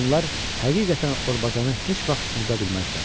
Onlar həqiqətən Orbazanı heç vaxt unuda bilməzlər.